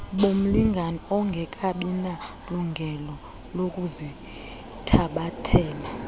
bomlingane ongekabinalungelo lokuzithabathela